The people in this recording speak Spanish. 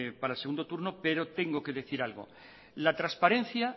para el segundo turno pero tengo que decir algo la transparencia